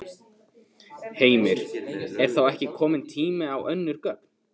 Heimir: Er þá ekki kominn tími á önnur gögn?